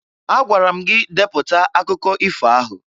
Agwara m gị depụta akụkọ ifo ahụ!